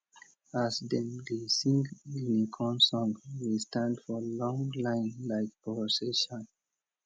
as dem dey sing guinea corn song we stand for long line like procession